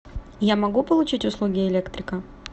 я могу получить услуги электрика